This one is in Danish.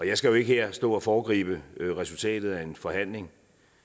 jeg skal jo ikke her stå og foregribe resultatet af en forhandling